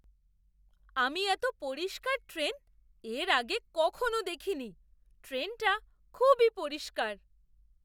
আমি এতো পরিষ্কার ট্রেন এর আগে কখনও দেখিনি! ট্রেনটা খুবই পরিষ্কার!